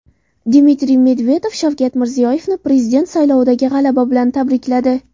Dmitriy Medvedev Shavkat Mirziyoyevni Prezident saylovidagi g‘alaba bilan tabrikladi.